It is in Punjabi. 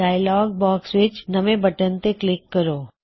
ਡਾਇਅਲੌਗ ਬਾਕ੍ਸ ਵਿੱਚ ਨਿਊ ਬਟਨ ਉੱਤੇ ਕਲਿੱਕ ਕਰੋ